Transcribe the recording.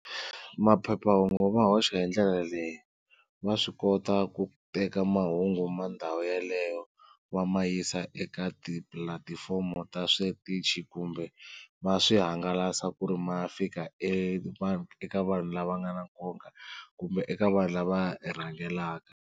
Maphephahungu va hoxa hi ndlela leyi va swi kota ku teka mahungu ma ndhawu yaleyo va ma yisa eka tipulatifomo ta switichi kumbe va swihangalasa ku ri ma fika eka vanhu lava nga na nkoka kumbe eka vanhu lava ya rhangelaka.